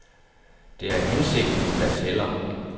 Det er hensigten der tæller.